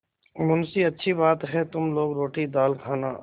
मुंशीअच्छी बात है तुम लोग रोटीदाल खाना